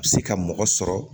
Se ka mɔgɔ sɔrɔ